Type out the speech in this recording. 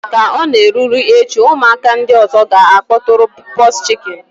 Ka ọ na-erule echi, ụmụaka ndị ọzọ ga-akpọtụrụ pox chicken